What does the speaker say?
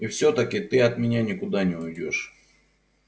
и всё-таки ты от меня никуда не уйдёшь